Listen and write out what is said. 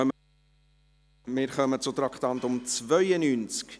Wir kommen zum Traktandum 92.